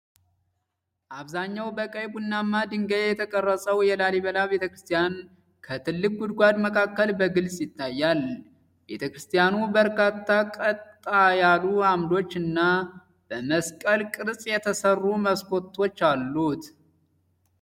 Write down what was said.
አብዛኛው በቀይ ቡናማ ድንጋይ የተቀረጸው የላሊበላ ቤተክርስቲያን ከጥልቅ ጉድጓድ መካከል በግልጽ ይታያል። ቤተክርስቲያኑ በርካታ ቀጥ ያሉ አምዶች እና በመስቀል ቅርጽ የተሰሩ መስኮቶች አሉት።